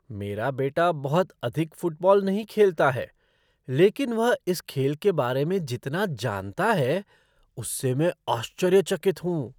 मेरा बेटा बहुत अधिक फ़ुटबॉल नहीं खेलता है लेकिन वह इस खेल के बारे में जितना जनता है उससे मैं आश्चर्यचकित हूँ।